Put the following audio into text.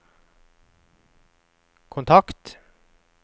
kontakt